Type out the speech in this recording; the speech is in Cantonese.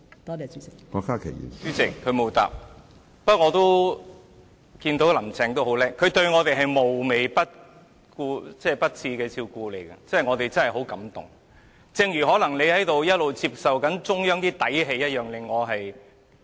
主席，她沒有回答我的問題，不過我也看到"林鄭"很精明，她對我們"無微不至"的照顧，我們真的很感動，正如她可能一直在感受中央的"底氣"一樣。